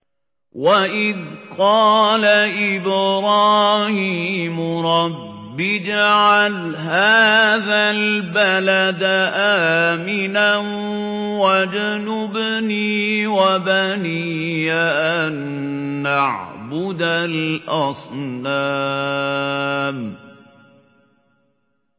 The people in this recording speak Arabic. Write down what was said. وَإِذْ قَالَ إِبْرَاهِيمُ رَبِّ اجْعَلْ هَٰذَا الْبَلَدَ آمِنًا وَاجْنُبْنِي وَبَنِيَّ أَن نَّعْبُدَ الْأَصْنَامَ